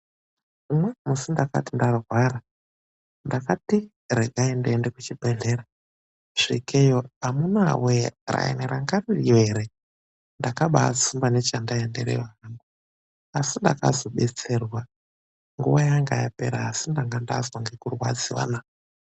Umweni musi ndakati ndarwara ndakati, rekai ndiende kuchibhehlera svikeiyo amunaawee raini raingeyo ere ndakabaatsumba chandanga ndaendereyo asi ndakazodetserwa. Nguva yangayaenda asi ndakazodetserwa naa!.